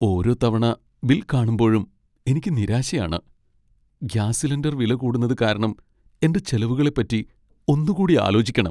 ഓരോ തവണ ബിൽ കാണുമ്പഴും എനിക്ക് നിരാശയാണ്. ഗ്യാസ് സിലിണ്ടർ വില കൂടുന്നത് കാരണം എന്റെ ചെലവുകളെപ്പറ്റി ഒന്നുകൂടി ആലോചിക്കണം.